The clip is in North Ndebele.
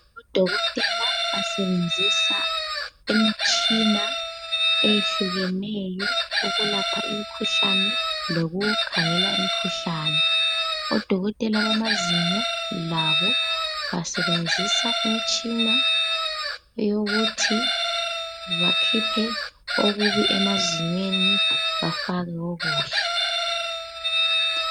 Odokotela basebenzisa imitshina eyehlukeneyo ukulapha imikhuhlane lokukhangela imikhuhlane. Odokotela bamazinyo labo basebenzisa imitshina eyokuthi bakhiphe okubi emazinyweni bafake okuhle.